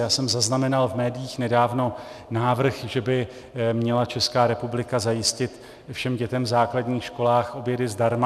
Já jsem zaznamenal v médiích nedávno návrh, že by měla Česká republika zajistit všem dětem v základních školách obědy zdarma.